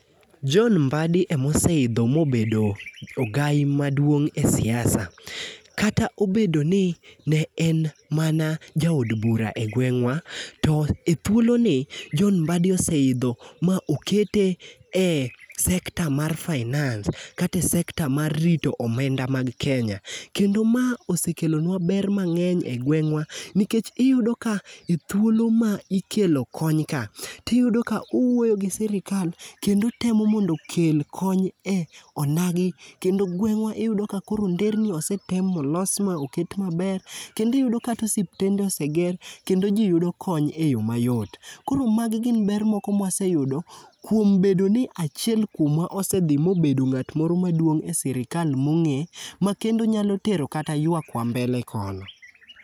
John Mbadi emoseidho mobedo ogai maduong' e siasa. Kata obedo ni ne en mana jaod bura e gweng'wa, to e thuoloni, John Mbaddi oseidho ma okete e sector mar finance kata e sector mar rito omenda mag Kenya. Kendo ma osekelonwa ber mang'eny e gweng'wa nikech iyudo ka e thuolo ma ikelo konyka, tiyudo ka uwuoyo gi sirikal kendo temo mondo okel kony e onagi kendo gweng'wa iyudo ka koro nderni osetem molos ma oket maber. Kendo iyudo kata osiptende oseger kendo ji yudo kony e yo mayot. Koro magi gin ber moko mwaseyudo kuom bedo ni achiel kuomwa osedhi mobedo ng'at moro maduong' e sirikal mong'e ma kendo nyalo tero kata ywakwa mbele koni.